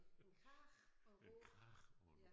En krage og en råge ja